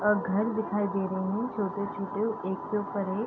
और घर दिखाई दे रहे हैं छोटे-छोटे एक के ऊपर एक।